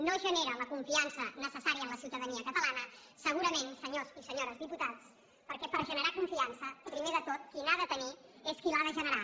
no es genera la confiança necessària en la ciutadania catalana segurament senyors i senyores diputats perquè per generar confiança primer de tot qui n’ha de tenir és qui l’ha de generar